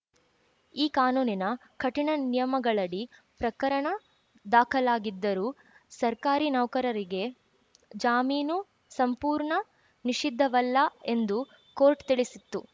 ಈ ಕಾನೂನಿನ ಕಠಿಣ ನಿಯಮಗಳಡಿ ಪ್ರಕರಣ ದಾಖಲಾಗಿದ್ದರೂ ಸರ್ಕಾರಿ ನೌಕರರಿಗೆ ಜಾಮೀನು ಸಂಪೂರ್ಣ ನಿಷಿದ್ಧವಲ್ಲ ಎಂದೂ ಕೋರ್ಟ್‌ ತಿಳಿಸಿತ್ತು